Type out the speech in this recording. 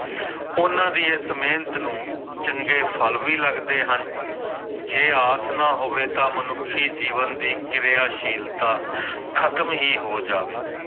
ਉਹਨਾਂ ਦੀ ਇਸ ਮਿਹਨਤ ਨੂੰ ਚੰਗੇ ਫਲ ਵੀ ਲੱਗਦੇ ਹਨ ਜੇ ਆਸ ਨਾ ਹੋਵੇ ਤਾਂ ਮਨੁੱਖੀ ਜੀਵਨ ਦੀ ਕਿਰਿਆਸ਼ੀਲਤਾ ਖ਼ਤਮ ਹੀ ਹੋ ਜਾਵੇ।